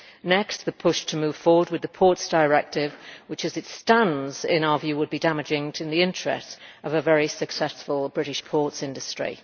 Next, the push to move forward with the Ports Directive which, as it stands, would in our view be damaging to the interests of a very successful British ports industry.